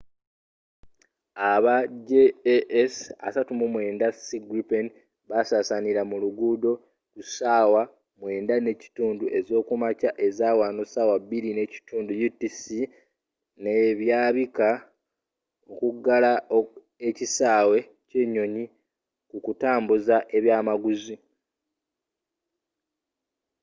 aba jas 39c gripen basasanila mu luguudo ku saawa nga 9:30 ezokumakya ezawano 0230 utc ne byaabika okugala ekisaawe ky’enyonyi ku kutambuza kwebyamaguzi